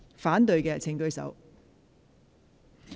反對的請舉手。